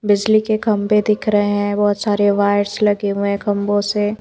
बिजली के खंबे दिख रहे हैं बहुत सारे वायर्स लगे हुए हैं खंबों से--